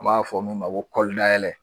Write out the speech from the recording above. U b'a fɔ min ma ko kɔlidayɛlɛ.